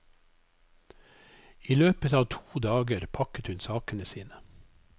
I løpet av to dager pakket hun sakene sine.